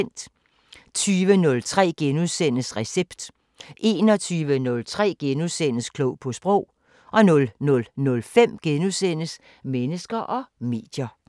20:03: Recept * 21:03: Klog på sprog * 00:05: Mennesker og medier *